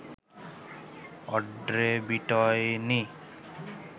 Audrey বিটয়নি